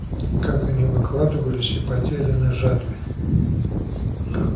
как они выкладывались и потели на жатве